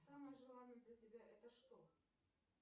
самое желанное для тебя это что